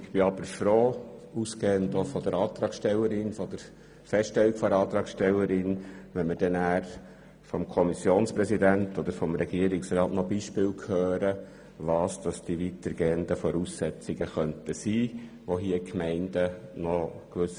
Ich wäre aber froh – ausgehend von der Feststellung der Antragstellerin –, wenn wir anschliessend vom Kommissionspräsidenten oder vom Regierungsrat noch Beispiele dazu hören würden, worin die weitergehenden Voraussetzungen bestehen könnten.